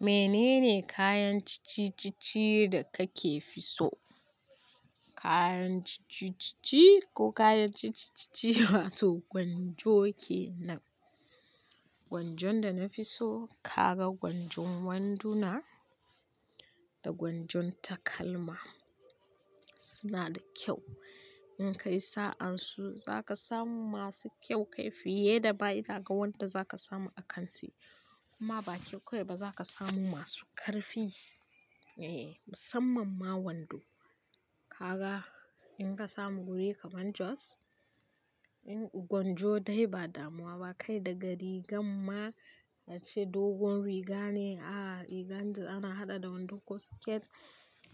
Menene kayan ciccicicci da kake fi so? Kayan ciccicicicci ko kayan ciccicicci wato gwanjo ke nan. Gwanjon da na fi so, kaga gwanjon wanduna da gwanjon takalma suna da kyau. In kai sa'an su, za ka samu masu kyau kai fiye da baya da ga wanda za ka samu a kanti kuma ba kyau kawai ba, za ka samu masu ƙarfi. Eee, musamman ma wando. Kaga in ka samu wuri kamar Jos, in gwanjo dai ba damuwa ba, kai daga rigan ma, ace dogon riga ne, a'a rigan da ana haɗa da wando ko skirt.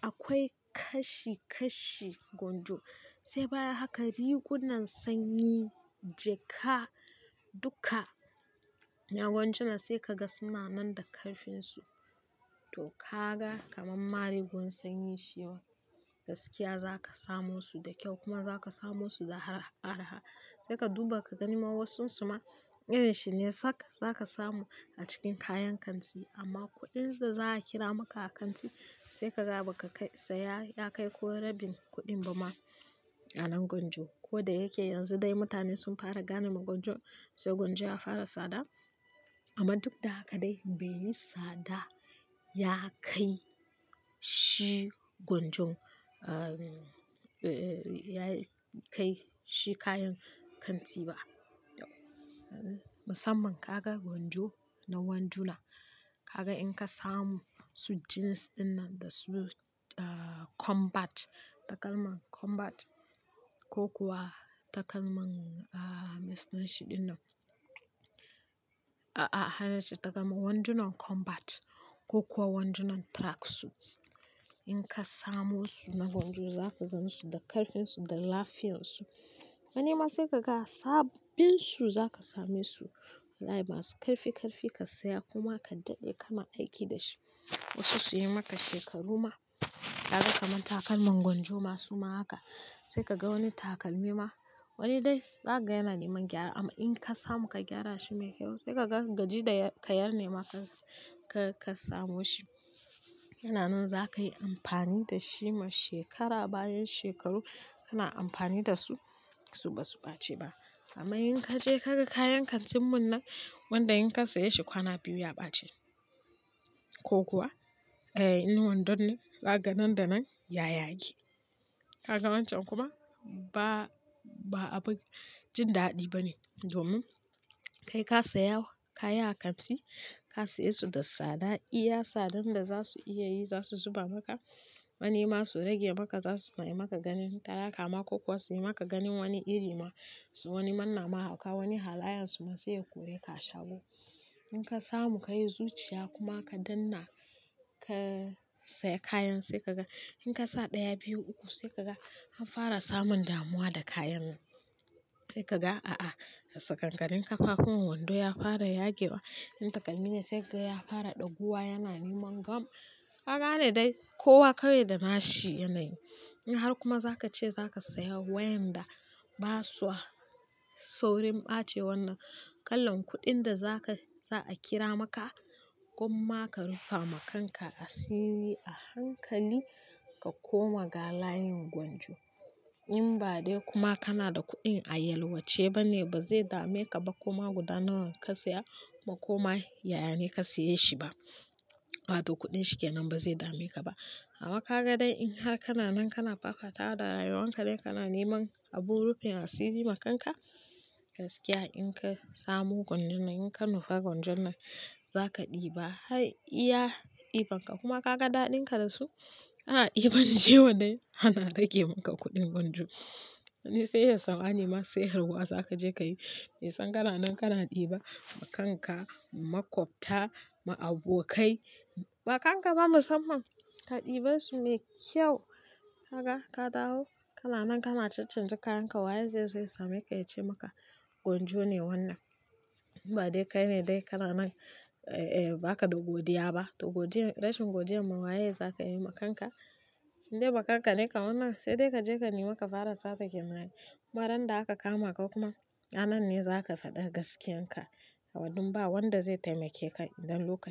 Akwai kashi-kashi gwanjo. Sai baya haka rigunan sanyi, jaka duka, na gwanjuna sai ka ga suna nan da karfinsu. To kaga kamar marigon sanyi shi ma gaskiya za ka samo su da kyau kuma za ka samo su da arha-arha. Sai ka duba ka gani ma wasun su ma irin shi ne sak, za ka samu a cikin kayan kanti amma kuɗin da za a kira maka a kanti sai ka kaga baka ka kai saya ya kai ko rabin kuɗin ba ma a nan gwanjo. Ko da yake yanzu dai mutane sun fara gane ma gwanjon sai gwanjo ya fara tsada amma duk da haka dai bai yi tsada ya kai shi gwanjon, ahhh, ya kai shi kayan kanti ba. Musamman ka ga gwanjo na wanduna, ka ga in ka samu su jeans dinnan da su combat, takalman combat ko kuwa takalman, ahhh, me suna shi dinnan? A'a, hana ce takalman wandunan combat ko kuwa wandunan tracksuits. In ka samo su na gwanjo za ka gan su da karfinsu, da lafiyansu. Wani ma sai ka ga sabbin su za ka same su wallahi masu karfi-karfi ka saya kuma ka daɗe kana aiki da shi, wasu su yi maka shekaru ma. Ka ga kamar takalman gwanjo ma su ma haka. Sai ka ga wani takalmi ma, wani dai zakaga yana neman gyara amma in ka samu ka gyara shi mai kyau sai ka ga gaji da ka yar ne maka ka-ka samo shi. Yana nan za ka yi amfani da shi ma shekara bayan shekaru kana amfani da su, su ba su ɓace ba. Amma in ka je ka ga kayan kantin mun nan, wanda in ka saya shi kwana biyu ya ɓace ko kuwa, eh, in wandon ne zaka ga nan da nan ya yage. Kaga wancan kuma ba-ba abin jin daɗi ba ne domin kai ka saya kaya a kanti, ka saye su da tsada, iya tsadan da za su iya yi za su zuba maka. Manema su rage maka za su yi maka ganin talaka ma ko kuwa su yi maka ganin wani iri ma su wani manna ma hauka wani halayan su ma sai ya kore ka a shago. In ka samu ka yi zuciya kuma ka danna ka saya kayan sai ka ga in ka sa ɗaya, biyu, uku sai ka ga an fara samun damuwa da kayan. Sai ka ga a'a, a tsakankanin ƙafafuwan wando ya fara yage wa. In takalmi ne sai ka ga ya fara ɗaguwa yana neman gam. Ka gane dai kowa kawai da nashi yanayi. In har kuma za ka ce za ka saya waƴanda ba sua saurin ɓace wannan, kalan kuɗin da za ka-- za a kira maka gwamma ka rufa ma kanka asiri a hankali ka koma ga layin gwanjo. In ba dai kuma kana da kuɗin a yalwace ba ne ba zai dame ka ba kuma guda nawa ka saya ba kuma yaya ne ka saye shi ba. Wato kuɗin shi ke nan ba zai dame ka ba. Amma ka ga dai in har kana nan kana fakata da rayuwan ka dai kana neman abun rufin asiri ma kanka, gaskiya in ka samo gwanjon nan in ka nufa gwanjon nan za ka ɗiba. Har iya ɗiban ka kuma ka ga daɗin ka da su, ana ɗiban ciwo neh ana rage maka kuɗin gwanjo. Wani sai yayi tsammani ma sayarwa za ka je ka yi? Mai san gara nan kana ɗiba ma kanka, ma ƙwafta, ma abokai, ma kanka ma musamman. Ka ɗiba su mai kyau, kaga ka dawo kana nan kana caccanja kayan ka waye zai zo ya same ka ya ce maka gwanjo ne wannan. In ba dai kai ne dai kana nan, eh, ba ka da godiya ba. To godiyar, rashin godiyan ma waye za ka yi ma kanka? In dai wa kanka ne kam wannan? Sai dai ka je ka nemi ka fara sata kenan ai. Kuma randa aka kama ka kuma, ranan ne za ka faɗa gaskiyan ka. Awadin ba wanda zai taimake ka idan lokaci.